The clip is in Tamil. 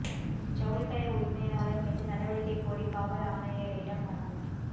ஜவுளிக்கடை உரிமையாளா் மீது நடவடிக்கை கோரி காவல் ஆணையரிடம் மனு